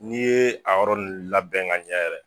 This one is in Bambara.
N'i ye a yɔrɔ nin labɛn ka ɲɛ yɛrɛ.